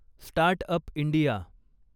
start up India